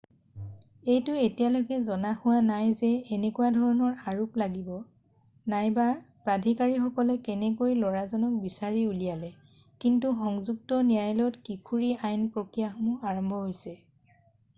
এইটো এতিয়ালৈকে জনা হোৱা নাই যে কেনেকুৱা ধৰণৰ আৰোপ লাগিব নাইবা প্ৰাধিকাৰীসকলে কেনেকৈ লৰাজনক বিচাৰি উলিয়ালে কিন্তু সংযুক্ত ন্যায়ালয়ত কিশোৰৰ আইনী প্ৰক্ৰিয়াসমূহ আৰম্ভ হৈছে